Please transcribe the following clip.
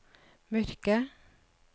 mørke